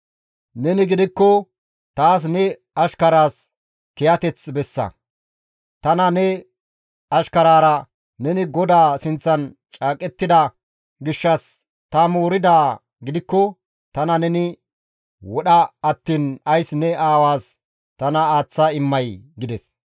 Neni gidikko taas ne ashkaraas kiyateth bessa; Tana ne ashkaraara neni GODAA sinththan caaqettida gishshas ta mooridaa gidikko tana neni wodha attiin ays ne aawaas tana aaththa immay?» gides.